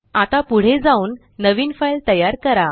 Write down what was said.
आता पुढे जाऊन नवीन फाइल तयार करा